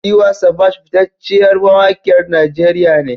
Tiwa Savage fitacceyar mawakiyar Najeriya ne.